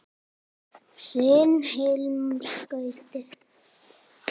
Þinn Hilmar Gauti.